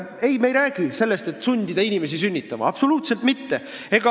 Ei, me ei räägi sellest, et tuleks sundida inimesi sünnitama – absoluutselt mitte.